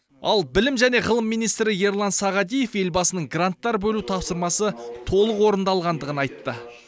ал білім және ғылым министрі ерлан сағадиев елбасының гранттар бөлу тапсырмасы толық орындалғандығын айтты